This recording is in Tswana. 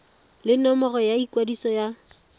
le nomoro ya ikwadiso ya